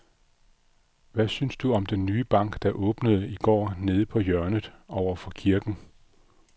Hvad synes du om den nye bank, der åbnede i går dernede på hjørnet over for kirken?